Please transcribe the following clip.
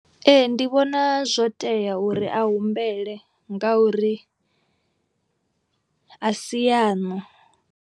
Ee ndi vhona zwo tea uri a humbele ngauri a si yaṋu.